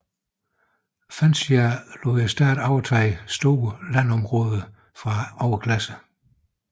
Francia lod staten overtage store landområder fra overklassen